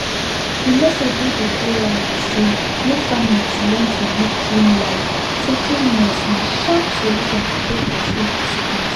the message wey dey go round be say make families learn to live clean life say cleanliness na sharp solution to take pursue sickness